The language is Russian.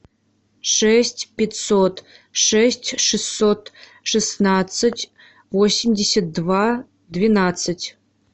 шесть пятьсот шесть шестьсот шестнадцать восемьдесят два двенадцать